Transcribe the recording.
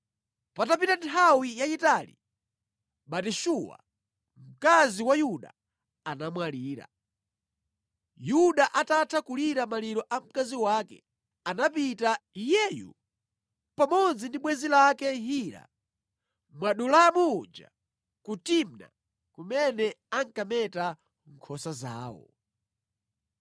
Patapita nthawi yayitali, Batishua, mkazi wa Yuda anamwalira. Yuda atatha kulira maliro a mkazi wake, anapita, iyeyu pamodzi ndi bwenzi lake Hira, Mwadulamu uja, ku Timna kumene ankameta nkhosa zawo.